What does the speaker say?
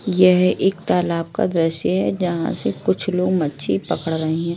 यह एक तालाब का दृश्य है जहां से कुछ लोग मच्छी पकड़ रहे हैं।